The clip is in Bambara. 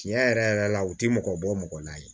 Tiɲɛ yɛrɛ yɛrɛ la u ti mɔgɔ bɔ mɔgɔ la ye